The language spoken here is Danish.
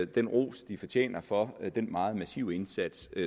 den ros de fortjener for den meget massive indsats